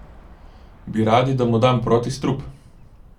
Bi radi, da mu dam protistrup?